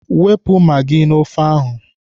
Wepụ magị n'ofe ahụ!